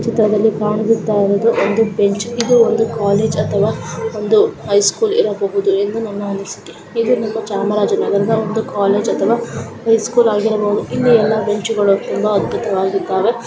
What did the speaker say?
ಈ ಚಿತ್ರದಲ್ಲಿ ಕಾಣಿಸುತ್ತ ಇರುವುದು ಒಂದು ಬೆಂಚ್ ಇದು ಒಂದು ಕಾಲೇಜ್ ಅಥವಾ ಒಂದು ಹೈ ಸ್ಕೂಲ್ ಇರಬಹುದು ಎಂದು ನನ್ನ ಅನಿಸಿಕೆ. ಇದು ನಮ್ಮ ಚಾಮರಾಜನಗರದ ಒಂದ್ ಕಾಲೇಜ್ ಅಥವಾ ಹೈ ಸ್ಕೂಲ್ ಆಗಿರ್ಬಹುದು ಇಲ್ಲೆ ಎಲ್ಲಾ ಬೆಂಚ್ ಅದ್ಭೂತವಾಗಿ ದಾವೆ.